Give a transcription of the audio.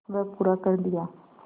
वह पूरा कर दिया